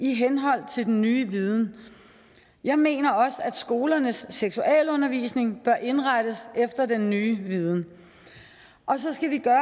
i henhold til den nye viden jeg mener også at skolernes seksualundervisning bør indrettes efter den nye viden og så skal vi gøre